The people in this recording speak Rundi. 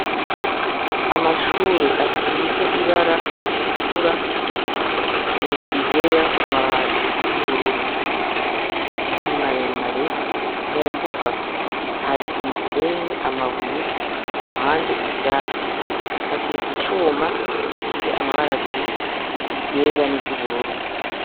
Amshure asize ibara ritukura hejuru iryera ku mabati iryubururu, ni maremare mu mbuga hari imisenyi, amabuye kuruhande ivyatsi, hashinze icuma gifise amabara abiri iryera n'iryubururu.